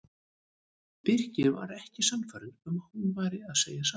Birkir var ekki sannfærður um að hún væri að segja satt.